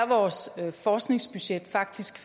vores forskningsbudget faktisk